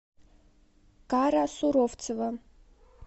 кара суровцева